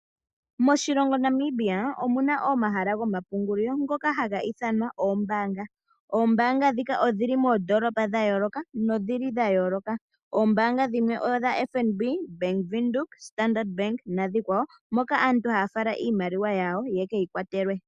Moshilongo Namibia omu na omahala gomapungulilo giimaliwa ngoka haga ithanwa oombaanga. Oombaanga ndhika odhi li moondoolopa dha yooloka nodhi li dha yooloka. Oombaanga dhimwe odha FNB, Bank Windhoek, Standard Bank noonkwawo moka aantu haya fala iimaliwa yawo yeke yi kwatelwe.